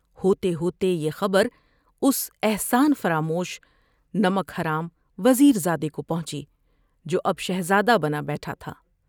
ہوتے ہوتے یہ خبر اس احسان فراموش ، نمک حرام وزیر زادے کو پہنچی جو، اب شہزادہ بنا بیٹھا تھا ۔